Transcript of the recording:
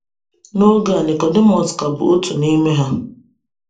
N’oge a, Nicodemus ka bụ “otu n’ime ha.”